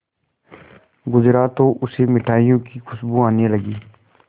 गुजरा तो उसे मिठाइयों की खुशबू आने लगी